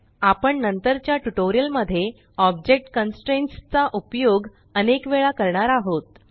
आपण नंतरच्या ट्यूटोरियल मध्ये ऑब्जेक्ट कन्स्ट्रेंट्स चा उपयोग अनेक वेळा करणार आहोत